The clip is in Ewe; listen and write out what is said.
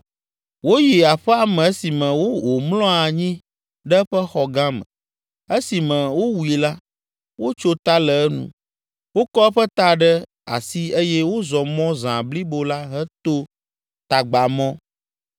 Woyi aƒea me esime wòmlɔ anyi ɖe eƒe xɔ gã me. Esime wowui la, wotso ta le enu. Wokɔ eƒe ta ɖe asi eye wozɔ mɔ zã blibo la heto tagbamɔ.